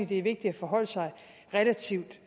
det er vigtigt at forholde sig relativt